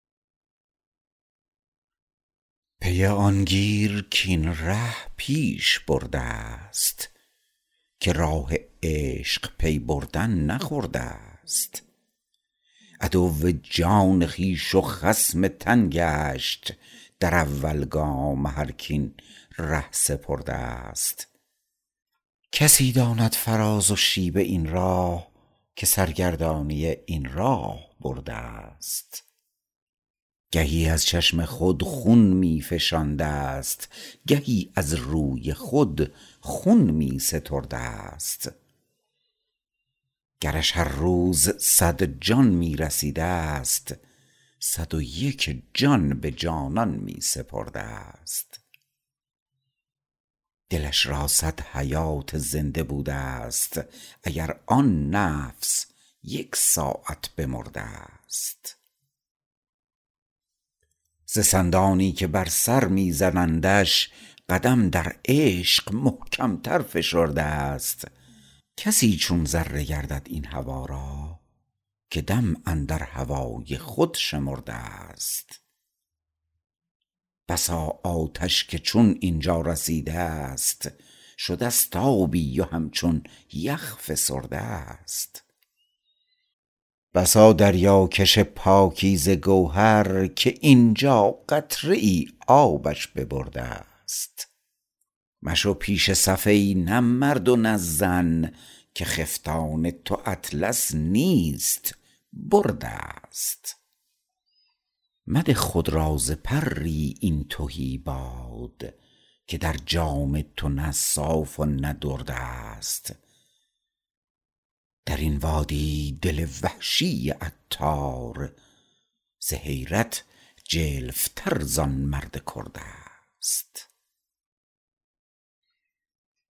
پی آن گیر کاین ره پیش بردست که راه عشق پی بردن نه خردست عدو جان خویش و خصم تن گشت در اول گام هرک این ره سپردست کسی داند فراز و شیب این راه که سرگردانی این راه بردست گهی از چشم خود خون می فشاندست گهی از روی خود خون می ستردست گرش هر روز صد جان می رسیدست صد و یک جان به جانان می سپردست دلش را صد حیات زنده بودست اگر آن نفس یک ساعت بمردست ز سندانی که بر سر می زنندش قدم در عشق محکم تر فشردست کسی چون ذره گردد این هوا را که دم اندر هوای خود شمردست بسا آتش که چون اینجا رسیدست شدست آبی و همچون یخ فسردست بسا دریا کش پاکیزه گوهر که اینجا قطره ای آبش ببردست مشو پیش صف ای نه مرد و نه زن که خفتان تو اطلس نیست بردست مده خود را ز پری این تهی باد که در جام تو نه صاف و نه دردست درین وادی دل وحشی عطار ز حیرت جلف تر زان مرد کردست